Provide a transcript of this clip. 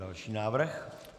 Další návrh.